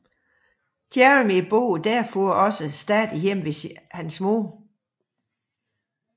Jeremy bor derfor også stadig hjemme ved sin mor